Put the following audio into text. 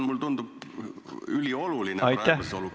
Mulle tundub, et see on praeguses olukorras ülioluline.